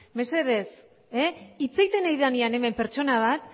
mesedez hitz egiten ari denean hemen pertsona bat